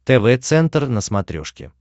тв центр на смотрешке